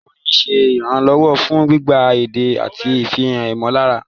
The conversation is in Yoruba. Àwọn orin ń ṣe ìrànlọ́wọ́ fún gbígba èdè àti ìfihàn ìmọ̀lára.